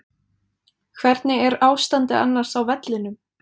Hvernig er ástandið annars á vellinum?